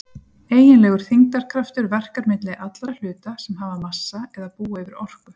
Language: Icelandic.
Eiginlegur þyngdarkraftur verkar milli allra hluta sem hafa massa eða búa yfir orku.